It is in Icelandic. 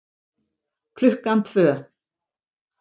Klukkan tvö